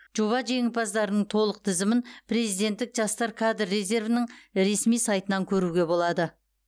жоба жеңімпаздарының толық тізімін президенттік жастар кадр резервінің ресми сайтынан көруге болады